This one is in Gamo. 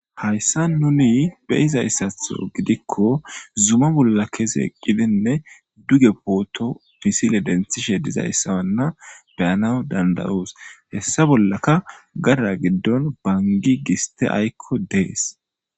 Hayssa nuni beyizayssatho gidikko zuma bolla keseqqidinne duge pooto misile denthishe dizayssawanna beyana dandayus hessa bollaka gada giddon bangi giste aykko dees.